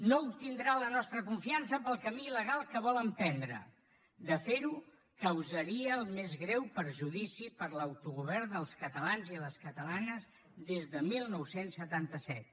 no obtindrà la nostra confiança pel camí il·legal que vol emprendre de fer ho causaria el més greu perjudici per a l’autogovern dels catalans i les catalanes des de dinou setanta set